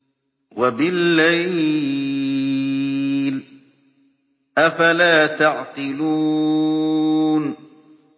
وَبِاللَّيْلِ ۗ أَفَلَا تَعْقِلُونَ